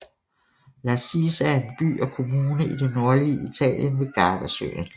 Lazise er en by og kommune i det nordlige Italien ved Gardasøen